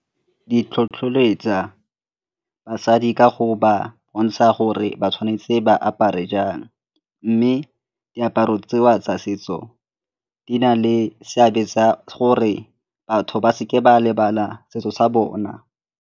Di tlhotlheletsa basadi ka go ba bontsha gore ba tshwanetse ba apare jang mme diaparo tseo tsa setso di na le seabe tsa gore batho ba seke ba lebala setso sa bona.